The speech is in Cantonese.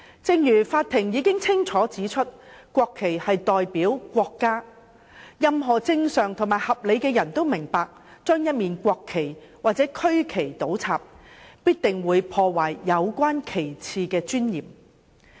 正如法庭已經清楚指出，國旗代表國家，任何正常和合理的人都明白，將國旗或區旗倒插必定會破壞有關旗幟的尊嚴。